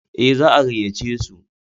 Ee, za a gayyace su.